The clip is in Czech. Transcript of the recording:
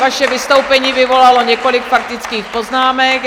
Vaše vystoupení vyvolalo několik faktických poznámek.